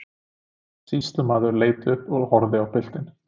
Sýslumaður leit upp og horfði á piltinn.